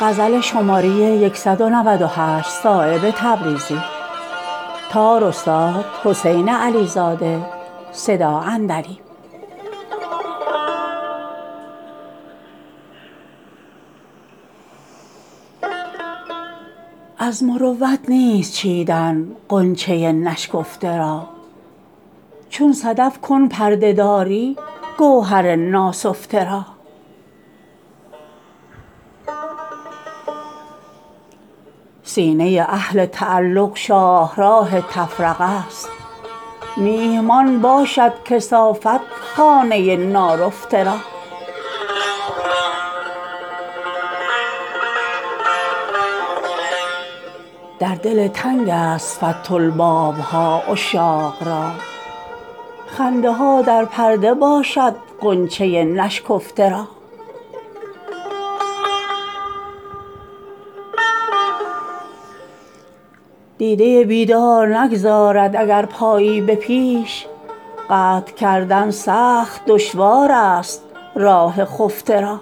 از مروت نیست چیدن غنچه نشکفته را چون صدف کن پرده داری گوهر ناسفته را سینه اهل تعلق شاهراه تفرقه است میهمان باشد کثافت خانه نارفته را در دل تنگ است فتح الباب ها عشاق را خنده ها در پرده باشد غنچه نشکفته را دیده بیدار نگذارد اگر پایی به پیش قطع کردن سخت دشوارست راه خفته را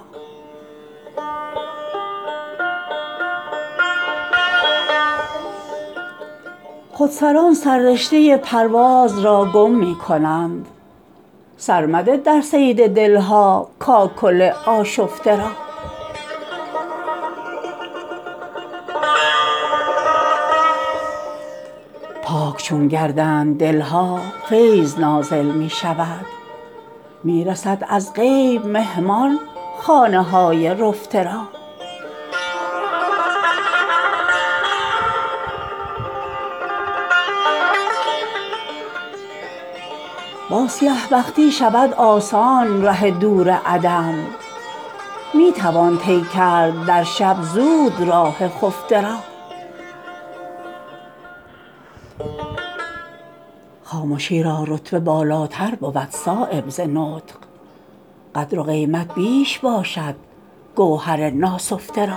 خودسران سررشته پرواز را گم می کنند سر مده در صید دل ها کاکل آشفته را پاک چون گردند دل ها فیض نازل می شود می رسد از غیب مهمان خانه های رفته را با سیه بختی شود آسان ره دور عدم می توان طی کرد در شب زود راه خفته را خامشی را رتبه بالاتر بود صایب ز نطق قدر و قیمت بیش باشد گوهر ناسفته را